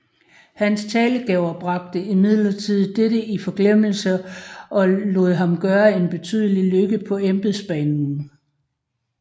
Hans talegaver bragte imidlertid dette i forglemmelse og lod ham gøre en betydelig lykke på embedsbanen